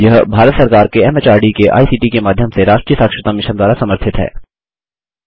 यह भारत सरकार के एमएचआरडी के आईसीटी के माध्यम से राष्ट्रीय साक्षरता मिशन द्वारा समर्थित है